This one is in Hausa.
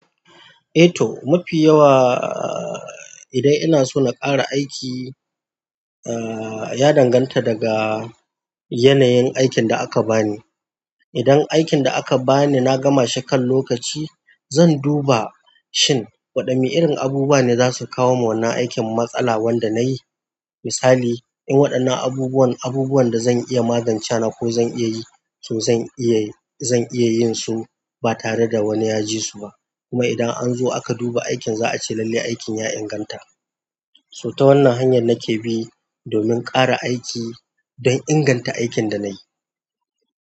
Eh to, mafi yawa idan ina so na ƙara aiki, aa ya danganta daga yanayin aikin da aka bani. Idan aikin da aka bani na gama shekan lokaci, zan duba shin waɗanne irin abubuwa ne za su kawo wa wannan aikin matsala wanda na yi. Misali, in waɗannan abubuwan, abubuwan da zan iya magance na ko zan iya yi, to zan iya, zan iya yin su ba tare da wani ya ji su ba. Kuma idan an zo aka duba aikin za a ce lalle aikin ya inganta. So ta wannan hanyar nake bi domin ƙara aiki don inganta aikin da na yi.